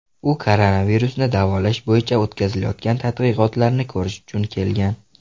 U koronavirusni davolash bo‘yicha o‘tkazilayotgan tadqiqotlarni ko‘rish uchun kelgan.